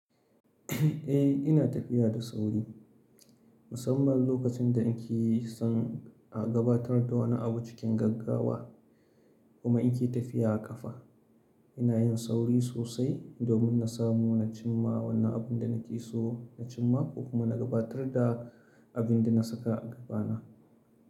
Eh ina tafiya da sauri, musamman lokacin da in ke son a gabatar da wani abu cikin gaggawa kuma in ke tafiya a kafa. Ina yin sauri sosai domin na samu na cimma wannan abin da nake so na cimma ko kuma na gabatar da abin da na saka a gabana.